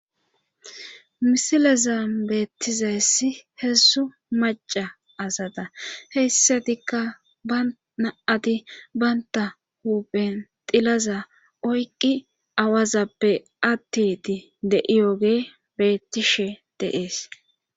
Hisilezam beettizayssi heessu maca asata heyssatikka ba na7ati baynta huphen tilaza oyqqi awazappe attiti de7iyooge bettishe deees.